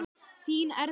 Þín Erla.